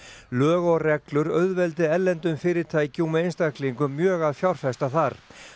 lög og reglur auðveldi erlendum fyrirtækjum og einstaklingum mjög að fjárfesta þar